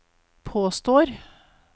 påstår